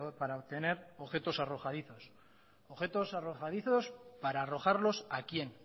para obtener objetos arrojadizos objetos arrojadizos para arrojarlos a quién